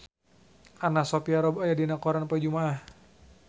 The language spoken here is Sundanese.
Anna Sophia Robb aya dina koran poe Jumaah